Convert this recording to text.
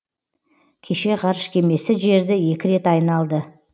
кеше ғарыш кемесі жерді екі рет айналды